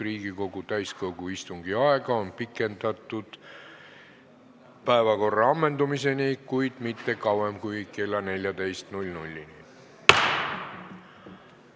Riigikogu täiskogu istungi aega on pikendatud päevakorra ammendumiseni, kuid mitte kauem kui kella 14-ni.